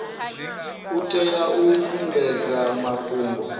u tea u sumbedza mafhungo